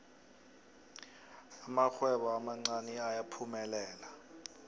amarhwebo amancani ayaphumelela